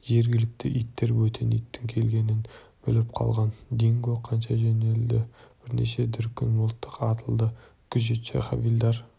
жергілікті иттер бөтен иттің келгенін біліп қалған динго қаша жөнелді бірнеше дүркін мылтық атылды күзетші хавильдар